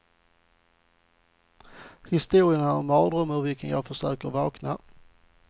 Historien är en mardröm ur vilken jag försöker vakna.